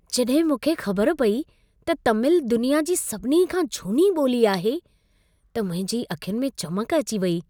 जॾहिं मूंखे ख़बर पई त तमिल दुनिया जी सभिनी खां झूनी ॿोली आहे, त मुंहिंजी अखियुनि में चमक अची वेई।